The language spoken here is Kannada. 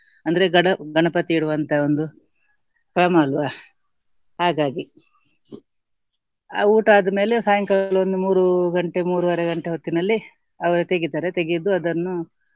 ಅಂದ್ರೆ ಗಡ~ ಗಣಪತಿ ಇಡುವಂತ ಒಂದು ಕ್ರಮ ಅಲ್ವ ಹಾಗಾಗಿ ಊಟ ಆದ್ಮೇಲೆ ಸಾಯಂಕಾಲ ಒಂದ್ ಮೂರು ಗಂಟೆ ಮೂರುವರೆ ಗಂಟೆ ಹೊತ್ತಿನಲ್ಲಿ ಅವರೆ ತೆಗಿತಾರೆ ತೆಗೆದು ಅದನ್ನು